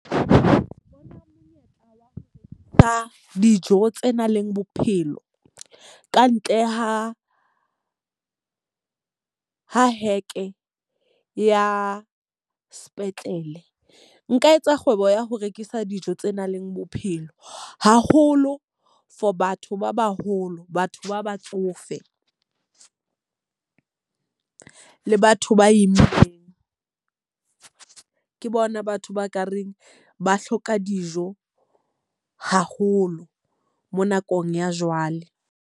Ka dijo tse nang le bophelo ka ntle ha heke ya sepetlele. Nka etsa kgwebo ya ho rekisa dijo tse nang le bophelo, haholo for batho ba baholo, batho ba batsofe le batho ba immeng. Ke bona batho ba ka reng ba hloka dijo haholo mo nakong ya jwale.